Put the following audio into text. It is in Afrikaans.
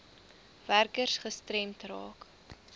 werkers gestremd raak